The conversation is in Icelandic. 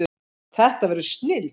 Þetta verður snilld